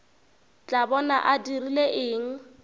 tla bona a dirile eng